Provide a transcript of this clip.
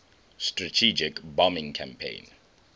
strategic bombing campaign